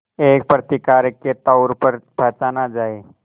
एक प्रतिकारक के तौर पर पहचाना जाए